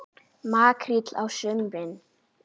Makríll á sumrin.